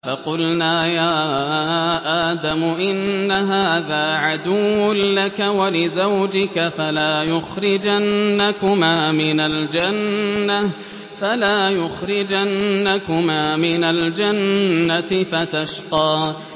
فَقُلْنَا يَا آدَمُ إِنَّ هَٰذَا عَدُوٌّ لَّكَ وَلِزَوْجِكَ فَلَا يُخْرِجَنَّكُمَا مِنَ الْجَنَّةِ فَتَشْقَىٰ